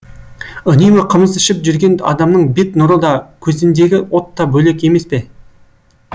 үнемі қымыз ішіп жүрген адамның бет нұры да көзіндегі от та бөлек емес пе